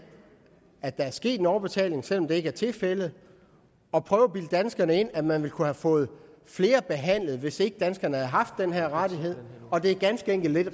at der er sket overbetaling selv om det ikke er tilfældet og prøver at bilde danskerne ind at man ville kunne have fået flere behandlet hvis ikke danskerne havde haft den her rettighed det er ganske enkelt ikke